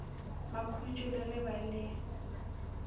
makhutšo le ge ba le